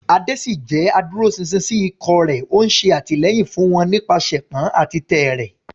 Ade ṣì jẹ́ adúróṣinṣin sí ikọ̀ rẹ̀, ó ń ṣe àtìlẹ́yìn fún wọn nípasẹ̀pọn àti tẹ́ẹ́rẹ́.